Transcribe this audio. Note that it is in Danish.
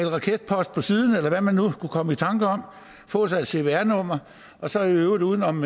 raketpost på siden eller hvad man nu kunne komme i tanker om få sig et cvr nummer og så i øvrigt uden om